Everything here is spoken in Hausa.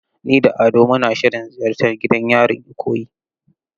Ni da Ado muna shirin ziyartar gidan yarin Ikoyi.